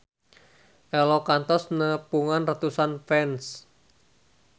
Ello kantos nepungan ratusan fans